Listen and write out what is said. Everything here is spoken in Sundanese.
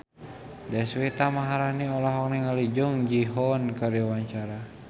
Deswita Maharani olohok ningali Jung Ji Hoon keur diwawancara